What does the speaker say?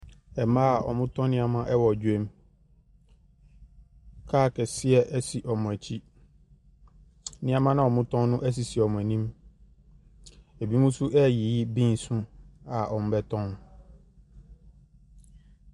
Mmaa wɔtɔn nnoɔma wɔ dwam. Car kɛseɛ esi wɔn akyi. Nneema noa wɔtɔn no esisi wɔn anim. Ebinom nso ɛreyi beans ho a wɔrebɛtɔn.